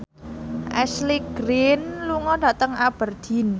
Ashley Greene lunga dhateng Aberdeen